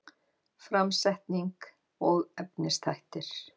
Framsetning og efnisþættir